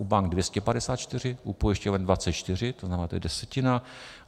U bank 254, u pojišťoven 24, to znamená, to je desetina.